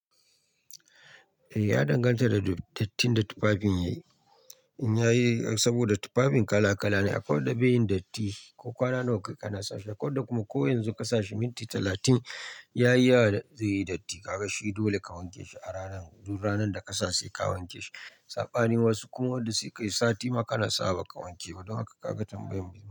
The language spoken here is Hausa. Eh ya danganta da dattin da tufafin yayi. In yayi saboda tufafin kala kala ne akwai wadda beyin datti, ko kwana nawa kayi kana sashi akwai wadda kuma ko yanzu ka sa shi minti talatin yayi haka zai yi datti. Ka ga shi dole ka wanke shi a ranar, duk ranar da ka sa sai ka wanke shi. Saɓani wasu kuma wadda su kai sati ma kana sawa ba ka wanke ba. Don haka ka ga tambayan bizai.